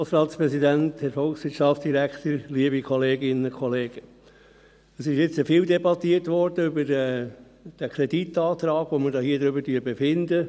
Es wurde viel über den Kreditantrag debattiert, über welchen wir hier befinden.